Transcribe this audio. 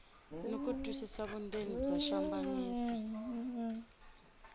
no twisisa vundzeni bya xihlambanyiso